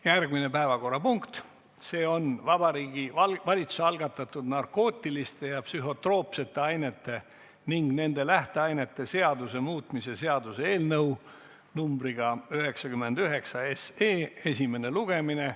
Järgmine päevakorrapunkt on Vabariigi Valitsuse algatatud narkootiliste ja psühhotroopsete ainete ning nende lähteainete seaduse muutmise seaduse eelnõu 99 esimene lugemine.